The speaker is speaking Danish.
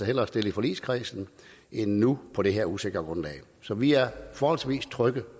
hellere stille i forligskredsen end nu på det her usikre grundlag så vi er forholdsvis trygge